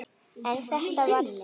En þetta var þá.